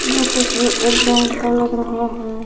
ये तस्वीर एक ग्राउंड का लग रहा है।